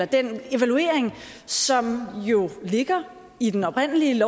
den evaluering som jo ligger i den oprindelige